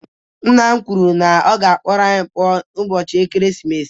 Nna m kwuru na ya ga-akpọrọ anyị pụọ n'ụbọchị ekeresimesi.